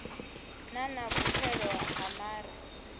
na na vhupfelo ha mare